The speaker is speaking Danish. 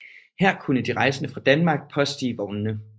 Her kunne de rejsende fra Danmark påstige vognene